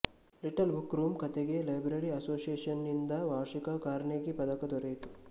little bookroom ಕಥೆಗೆ library ಅಸೋಸಿಯೇಷನ್ನಿಂದವಾರ್ಷಿಕ Carnegie ಪದಕ ದೊರೆಯಿತು